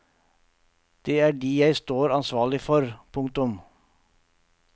Det er de jeg står ansvarlig for. punktum